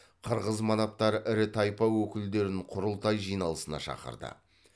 қырғыз манаптары ірі тайпа өкілдерін құрылтай жиналысына шақырды